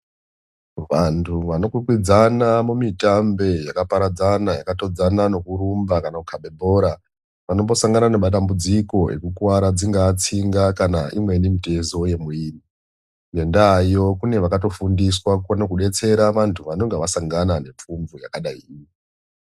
Vantu vanokwikwidzana kumitambo yakaparadzana yakatodzana nekurumba kana kukaba bhora vanombosangana nematambudziko yekukuvara dzingavamitezo kana tsinga Yemuvirri ngenda iyo kune vakatodetsera ngenda vanenge vasangana nepfumvu yakadai.